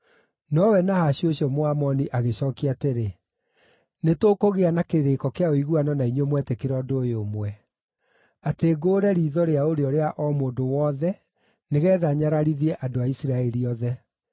Nowe Nahashu ũcio Mũamoni agĩcookia atĩrĩ, “Nĩtũkũgĩa na kĩrĩĩko kĩa ũiguano na inyuĩ mwetĩkĩra ũndũ ũyũ ũmwe: atĩ ngũũre riitho rĩa ũrĩo rĩa o mũndũ wothe nĩgeetha nyararithie andũ a Isiraeli othe.”